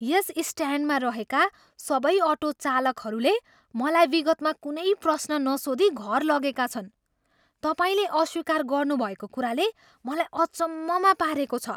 यस स्ट्यान्डमा रहेका सबै अटो चालकहरूले मलाई विगतमा कुनै प्रश्न नसोधी घर लगेका छन्। तपाईँले अस्वीकार गर्नुभएको कुराले मलाई अचम्ममा पारेको छ!